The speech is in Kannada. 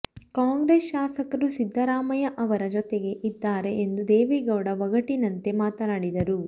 ಕಾಂಗ್ರೆಸ್ ಶಾಸಕರು ಸಿದ್ದರಾಮಯ್ಯ ಅವರ ಜೊತೆಗೆ ಇದ್ದಾರೆ ಎಂದು ದೇವೇಗೌಡ ಒಗಟಿನಂತೆ ಮಾತನಾಡಿದರು